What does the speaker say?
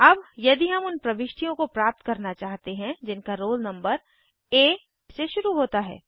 अब यदि हम उन प्रविष्टियों को प्राप्त करना चाहते हैं जिनका रोल नंबर आ से शुरू होता है